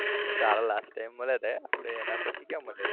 ત્યારે last time મળ્યા તા હે આપડે એના પછી ક્યા મળ્યા હતા